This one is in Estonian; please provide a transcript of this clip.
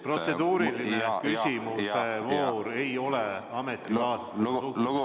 Protseduuriliste küsimuste voor ei ole ametikaaslastega suhtlemise koht.